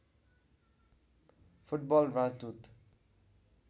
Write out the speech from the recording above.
football राजदूत